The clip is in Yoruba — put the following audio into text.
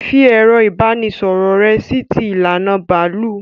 Fi ẹ̀rọ ìbánisọ̀rọ̀ rẹ sí ti ìlànà bàálù!